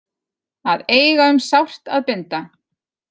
Að eiga um sárt að binda